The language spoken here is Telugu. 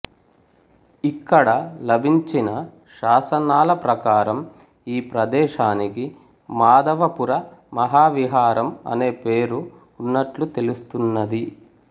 ఇక్కడ లభించిన శాసనాల ప్రకారం ఈ ప్రదేశానికి మాధవపుర మహావిహారం అనే పేరు ఉన్నట్లు తెలుస్తున్నది